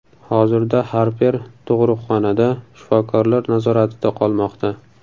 Hozirda Harper tug‘uruqxonada, shifokorlar nazoratida qolmoqda.